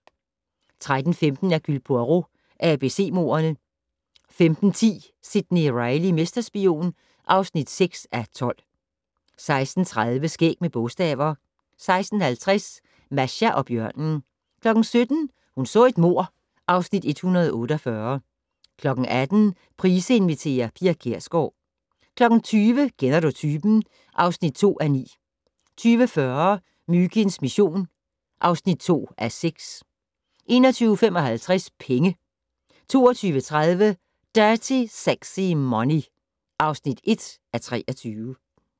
13:15: Hercule Poirot: ABC-mordene 15:10: Sidney Reilly - mesterspion (6:12) 16:30: Skæg med bogstaver 16:50: Masha og bjørnen 17:00: Hun så et mord (Afs. 148) 18:00: Price inviterer - Pia Kjærsgaard 20:00: Kender du typen? (2:9) 20:40: Myginds mission (2:6) 21:55: Penge 22:30: Dirty Sexy Money (1:23)